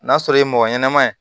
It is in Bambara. N'a sɔrɔ ye mɔgɔ ɲɛnɛman ye